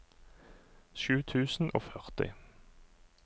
sju tusen og førti